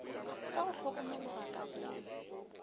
ka go hlokomologa ka boomo